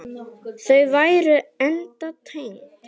Þau væru enda tengd.